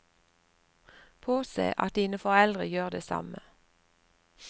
Påse at dine foreldre gjør det samme.